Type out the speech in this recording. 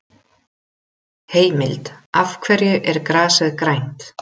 Heimild: Af hverju er grasið grænt?